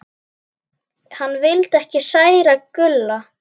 Hann vildi ekki særa Gulla.